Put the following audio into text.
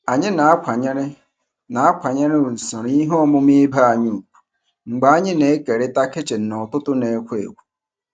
Anyị na-akwanyere na-akwanyere usoro ihe omume ibe anyị ùgwù mgbe anyị na-ekerịta kichin n'ụtụtụ na-ekwo ekwo.